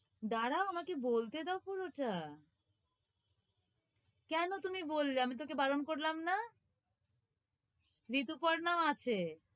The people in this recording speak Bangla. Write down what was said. দাড়াও আমাকে বলতে দাও পুরোটা কেনো তুমি বললে? আমি তোকে বারণ করলাম না ঋতুপর্ণাও আছে,